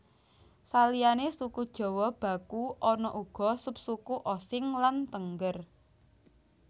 Saliyané suku Jawa baku ana uga subsuku Osing lan Tengger